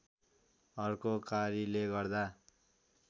अर्को कारीले गर्दा